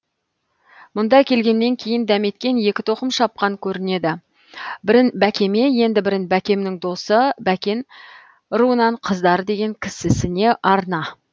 мұнда келгеннен кейін дәметкен екі тоқым шапқан көрінеді бірін бәкеме енді бірін бәкемнің досы бәкен руынан қыздар деген кісісіне арна